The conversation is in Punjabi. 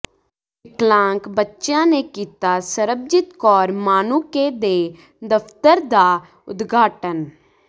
ਵਿਕਲਾਂਗ ਬੱਚਿਆਂ ਨੇ ਕੀਤਾ ਸਰਬਜੀਤ ਕੌਰ ਮਾਣੂੰਕੇ ਦੇ ਦਫ਼ਤਰ ਦਾ ਉਦਘਾਟਨ